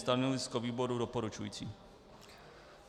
Stanovisko výboru doporučující.